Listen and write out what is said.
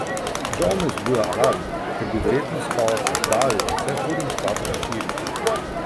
Žal me zbuja alarm, ker bi verjetno spal dalj, saj hodim spat ob štirih.